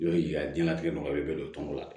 Jɔ ye a diɲɛlatigɛ nɔgɔyalen bɛ don tɔnɔ la